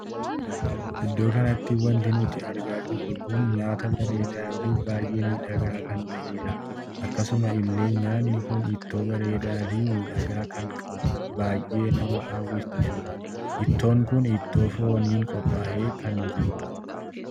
Iddoo kanatti wanti nuti argaa jirru kun nyaata bareedaa fi baay'ee miidhagaa kan taheedha. akkasuma illee nyaanni kun ittoo bareedaa fi miidhagaa kan baay'ee nama hawwisiisudha. ittoon kun ittoo fooniin qophaa'ee kan jirudha.